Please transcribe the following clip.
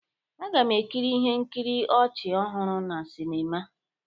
Aga m ekiri ihe nkiri ọchị ọhụrụ na sịnịma.